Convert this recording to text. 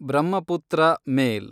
Brahmaputra ಮೇಲ್